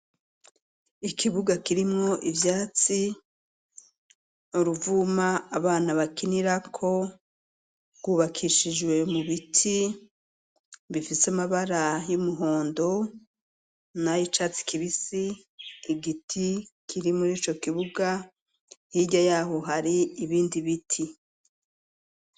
Ikibuga kirimwo ivyatsi uruvuma abana bakinirako rw'ubakishijwe mu biti bifise amabara y'umuhondo n'ayicatsi kibisi igiti kiri murico kibuga hirya yaho hari ibindi biti.